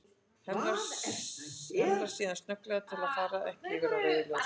Hemlar síðan snögglega til að fara ekki yfir á rauðu ljósi.